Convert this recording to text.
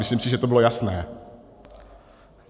Myslím si, že to bylo jasné.